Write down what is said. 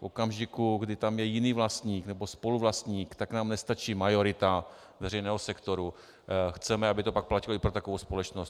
V okamžiku, kdy tam je jiný vlastník nebo spoluvlastník, tak nám nestačí majorita veřejného sektoru, chceme, aby to pak platilo i pro takovou společnost.